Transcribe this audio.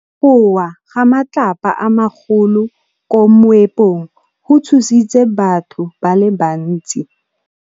Go wa ga matlapa a magolo ko moepong go tshositse batho ba le bantsi.